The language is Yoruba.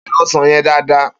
Be̩ o̩sàn ye̩n dáadáa!